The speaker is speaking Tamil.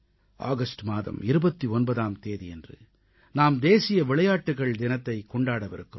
ஆகஸ்ட் மாதம் 29ஆம் தேதியன்று நாம் தேசிய விளையாட்டுகள் தினத்தை கொண்டாடவிருக்கிறோம்